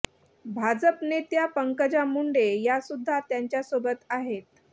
भाजप नेत्या पंकजा मुंडे या सुद्धा त्यांच्यासोबत आहेत